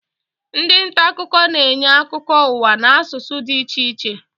Ndị nta akụkọ na-enye akụkọ ụwa n'asụsụ dị iche iche